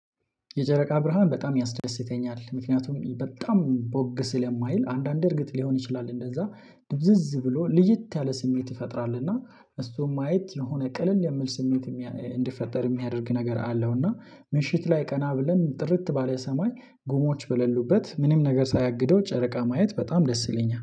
የጨረቃ ብርሃን በጣም ያስደስተኛል ምክንያቱም በጣም ቦግ ስለማይል አንዳንድ እርግጥ ሊሆን ይችላል እንደዛ ድብዝዝ ብሎ ልይት ያለ ስሜት ይፈጥራል። እና እሱን ማየት የሆነ ቀለል የሚል ስሜት እንዲፈጠር የሚያደርግ ነገር አለው። እና ምሽት ላይ ቀና ብለን ጥርት ባለ ሰማይ ጉሞች በሌሉበት ምንም ነገር ሳያግደው ጨረቃ ማየት በጣም ደስ ይለኛል